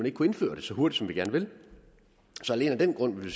ikke kunne indføre det så hurtigt som vi gerne vil så alene af den grund vil